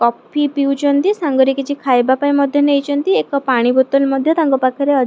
coffee ପିଉଚନ୍ତି ସାଙ୍ଗରେ କିଛି ଖାଇବା ପାଇଁ ମଧ୍ୟ ନେଇଚନ୍ତି ଏକ ପାଣି ବୋତଲ ମଧ୍ୟ ତାଙ୍କ ପାଖରେ ଅ --